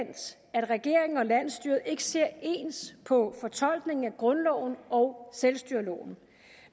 at regeringen og landsstyret ikke ser ens på fortolkningen af grundloven og selvstyreloven